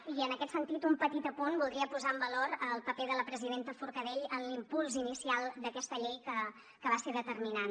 i en aquest sentit un petit apunt voldria posar en valor el paper de la presidenta forcadell en l’impuls inicial d’aquesta llei que va ser determinant